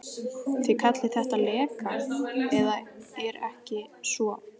Þið kallið þetta leka, eða er það ekki svo.